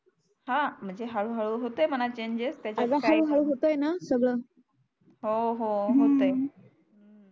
हा म्हणजे हळू हळू होते म्हणा चेंजेस त्याच काही हे अग हळू हळू होते णा सगळ हो हो होतय हम्म